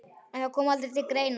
En það kom aldrei til greina.